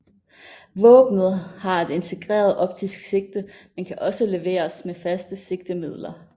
Våbnet har et integreret optisk sigte men kan også leveres med faste sigtemidler